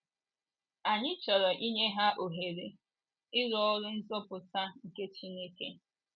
Anyị chọrọ inye ha ohere, ịrụ oru nzọpụta nke Chineke.